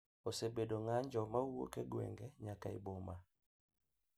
Osebedo ng’anjo ma wuok e gwenge nyaka e boma.